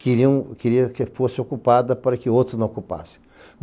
queria que fosse ocupada para que outros não ocupassem.